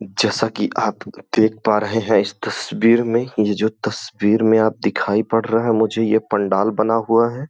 जैसा कि आप देख पा रहे हैं इस तस्वीर में ये जो तस्वीर में आप दिखाई पड़ रहा है मुझे ये पंडाल बना हुआ है।